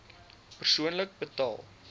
persoonlik betaal